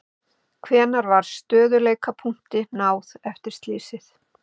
Hvenær var stöðugleikapunkti náð eftir slysið?